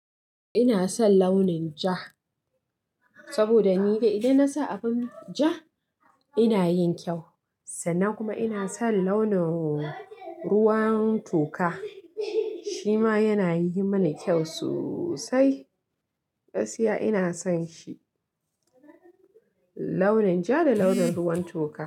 Ina son launin ja saboda ni dai idan nasa abin ja ina yin kyau sannan kuma ina son launin ruwan toka shima yanayi mani kyau sosai. Gaskiya ina son shi launin ja da launin ruwan toka.